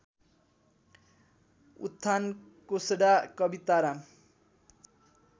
उत्थान कोषडा कविताराम